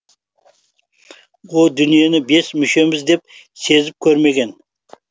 о дүниені бес мүшеміз де сезіп көрмеген